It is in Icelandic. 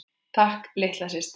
Takk litla systir.